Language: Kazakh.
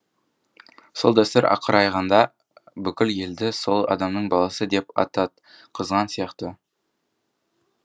сол дәстүр ақыр аяғында бүкіл елді сол адамның баласы деп ататқызған сияқты